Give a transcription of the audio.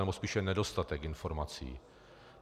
Nebo spíše nedostatek informací.